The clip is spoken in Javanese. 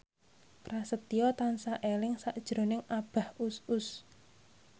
Prasetyo tansah eling sakjroning Abah Us Us